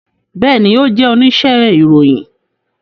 Bẹẹni, o jẹ onise iroyin